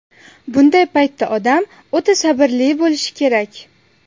Bunday paytda odam o‘ta sabrli bo‘lishi kerak.